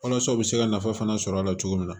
Walasa u bɛ se ka nafa fana sɔrɔ a la cogo min na